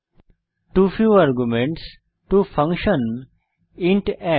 to few arguments to function int add